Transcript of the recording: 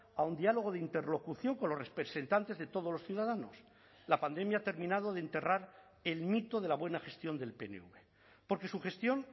a un diálogo de interlocución con los representantes de todos los ciudadanos la pandemia ha terminado de enterrar el mito de la buena gestión del pnv porque su gestión